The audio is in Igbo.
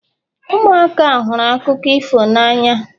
ụmụaka hụrụ akụkọ ifo n'anya